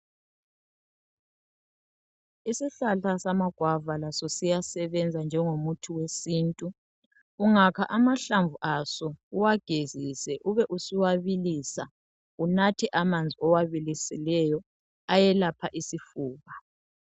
Isihlahla samagwava laso siyasebenza ngengomuthi wesintu ungakha amahlamvu aso uwagezise ube usuwabilisa unathe amanzi owabilisileyo ayelapha isifuba.